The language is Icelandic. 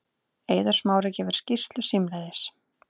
Eiður Smári gefur skýrslu símleiðis